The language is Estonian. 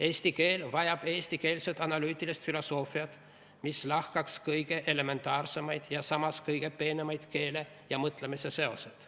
Eesti keel vajab eestikeelset analüütilist filosoofiat, mis lahkaks kõige elementaarsemaid ja samas kõige peenemaid keele ja mõtlemise seoseid.